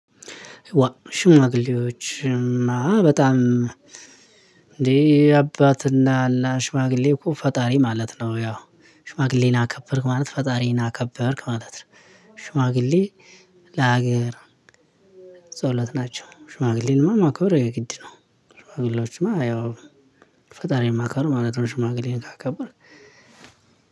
ሽማግሌዎች እማ በጣም እንዴ አባትና እና ሽማግሌ እኮ ፈጣሪ ማለት ነው ያው ሽማግሌን አከበርክ ማለት ፈጣሪን አከበርክ ማለት ነው። ሽማግሌ ለሀገር ጸሎት ናቸው። ሽማግሌን እማ ማክበር የግድ ነው። ሽማግሌዎችን ያው ፈጣሪ ማክበር ማለት ነው ሽማግሌን ካከበርክ